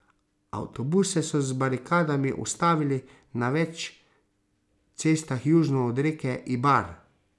Avtobuse so z barikadami ustavili na več cestah južno od reke Ibar.